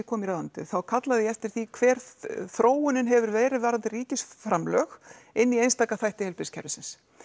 kom í ráðuneytið þá kallaði ég eftir því hver þróunin hefur verið varðandi ríkisframlög inn í einstaka þætti heilbrigðiskerfisins